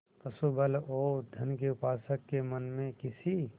पशुबल और धन के उपासक के मन में किसी